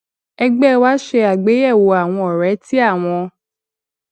ẹgbẹ wa ṣe àgbéyẹwò àwọn ọrẹ tí àwọn